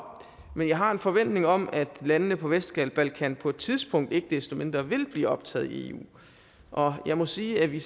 men jeg har en forventning om at landene på vestbalkan på et tidspunkt ikke desto mindre vil blive optaget i eu og jeg må sige at vi